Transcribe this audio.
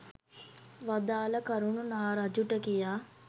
වදාළ කරුණු නා රජුට කියා